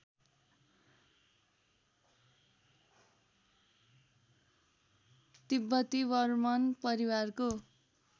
तिब्बती वर्मन परिवारको